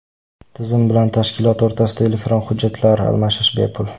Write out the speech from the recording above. Tizim bilan tashkilot o‘rtasida elektron hujjatlar almashish bepul.